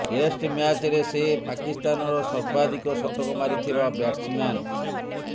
test ମ୍ୟାଚରେ ସେ ପାକିସ୍ତାନର ସର୍ବାଧିକ ଶତକ ମାରିଥିବା ବ୍ୟାଟ୍ସମ୍ୟାନ୍